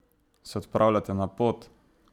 Se odpravljate na pot?